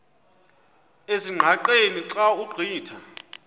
ezingqaqeni xa ugqitha